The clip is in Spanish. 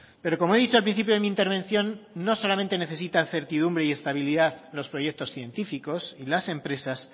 pero como he dicho al principio de mi intervención no solamente necesita certidumbre y estabilidad los proyectos científicos y las empresas